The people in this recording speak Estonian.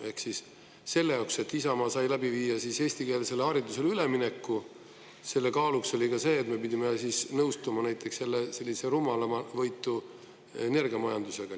Ehk siis selle jaoks, et Isamaa sai läbi viia eestikeelsele haridusele ülemineku, selle kaaluks oli ka see, et me pidime nõustuma näiteks sellise rumalamavõitu energiamajandusega.